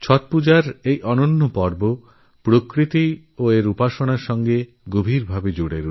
ছট পূজার অনুপমপর্বপ্রকৃতি আর প্রকৃতির উপাসনার সঙ্গে পুরোপুরি যুক্ত